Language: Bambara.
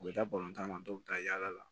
U bɛ taa tan ma dɔw bɛ taa yala la